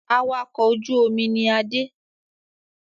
Awakọ̀ ojú omi ni Adé